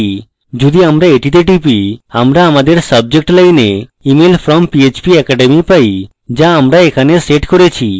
যদি আমরা এটিতে click করি আমরা আমাদের subject line email from phpacademy পাই যা আমরা এখানে set করেছি